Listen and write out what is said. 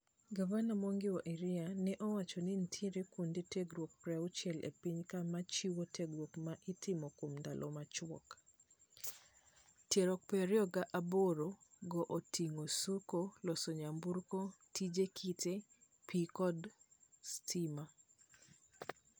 Gavana Mwangi Wa Iria ne owacho ni nitiere kuonde tirgruok paruchiel e piny ka machiwo tiengruok ma itimo kuom ndaalo machwok. Tiegruok pario gi aboro go oting'o suko, loso nyamburko, tije kite, pii kod kdo stima.